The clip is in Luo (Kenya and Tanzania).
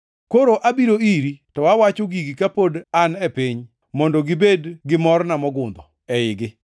“Koro abiro iri, to awacho gigi kapod an e piny, mondo gibed gi morna mogundho eigi.